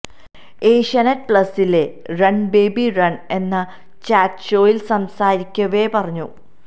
ഏഷ്യനെറ്റ് പ്ലസിലെ run baby run എന്ന ചാറ്റ്ഷോയില് സംസാരിക്കവെ പറഞ്ഞു